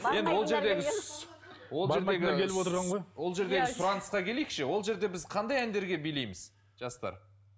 енді ол жердегі ол жердегі ол жердегі сұранысқа келейікші ол жерде біз қандай әндерге билейміз жастар